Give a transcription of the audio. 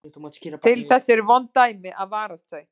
Til þess eru vond dæmi að varast þau.